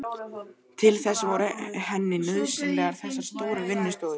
Til þess voru henni nauðsynlegar þessar stóru vinnustofur.